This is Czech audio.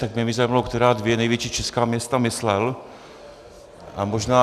Tak mě by zajímalo, která dvě největší česká města myslel.